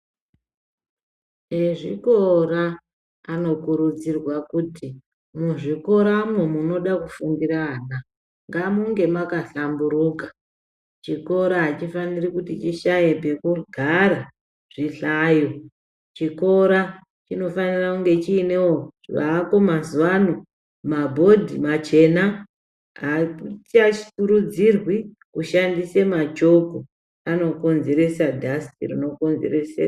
Ezvikora anokurudzirwa kuti mwu zvikoramwo munoda kufundira ana ngamunge maka hlamburuka chikora achi fanira kuti chishaye pekugara zvi hlayo chikora chino fanira kunge chinewo zvako mazuva ano mabhodhi machena aku kurudzirwe kushandise machoko ano konzeresa dhasiti rino konzerese.